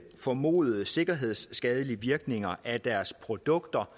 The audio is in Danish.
formodede sikkerhedsskadelige virkninger af deres produkter